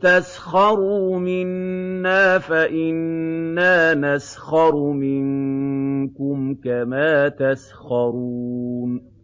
تَسْخَرُوا مِنَّا فَإِنَّا نَسْخَرُ مِنكُمْ كَمَا تَسْخَرُونَ